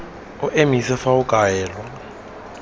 o emise fa o kaelwa